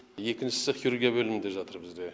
екіншісі хирургия бөлімінде жатыр бізде